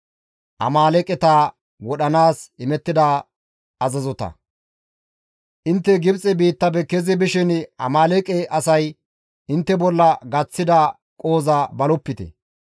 Intte Gibxe biittafe kezi bishin Amaaleeqe asay intte bolla gaththida qohoza balopite.